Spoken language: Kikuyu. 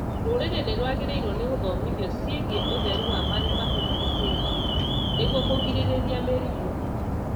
Rũrĩrĩ nĩrwagĩrĩirwo nĩ gũthomithio ciĩgiĩ ũtheru wa marĩa matũrigicĩirie nĩguo kũgirĩrĩria mĩrimũ